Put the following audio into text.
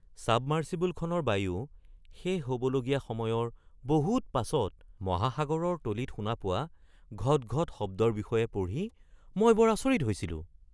ছাবমাৰ্ছিবলখনৰ বায়ু শেষ হ’বলগীয়া সময়ৰ বহুত পাছত মহাসাগৰৰ তলিত শুনা পোৱা ঘট ঘট শব্দৰ বিষয়ে পঢ়ি মই বৰ আচৰিত হৈছিলোঁ। (ব্যক্তি ১)